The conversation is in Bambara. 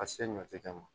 A se ɲɔ tɛ ka ma